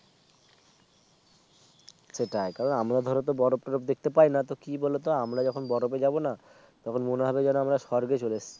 সেটাই কারণ আমরা ধরো তো বরফ টন্যরফ দেখতে পায় না তো কি বলতো আমরা যখন বরকে যাব না তখন মনে হবে যেন আমরা স্বর্গে চলে এসেছি